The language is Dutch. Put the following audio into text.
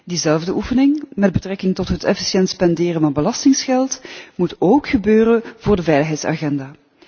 Diezelfde oefening met betrekking tot het efficiënt spenderen van belastinggeld moet ook gebeuren voor de veiligheidsagenda.